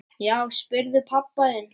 Já, spyrðu pabba þinn!